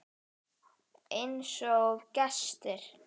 Einsog gestir.